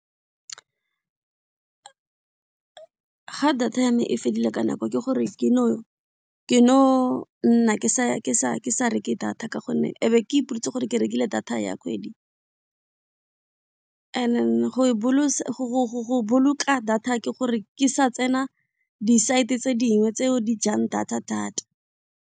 Ga data yame e fedile ka nako ke gore ke no nna ke sa reke data ka gonne ebe ke ipoditse gore ke rekile data ya kgwedi and then go boloka data ke gore ke sa tsena di-site tse dingwe tseo di jang data thata.